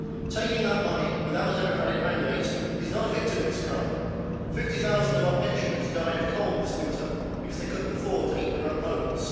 Taking that money, without a democratic mandate, is not a victimless crime. Fifty thousand of our pensioners died of cold this winter because they could not afford to heat their own homes.